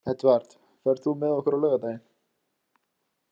Edvard, ferð þú með okkur á laugardaginn?